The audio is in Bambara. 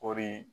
Kɔɔri